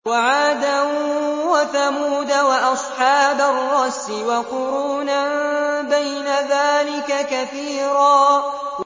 وَعَادًا وَثَمُودَ وَأَصْحَابَ الرَّسِّ وَقُرُونًا بَيْنَ ذَٰلِكَ كَثِيرًا